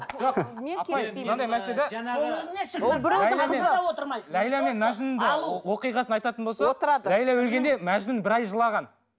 ләйла мен мәжнүн оқиғасын айтатын болсақ ләйла өлгенде мәжнүн бір ай жылаған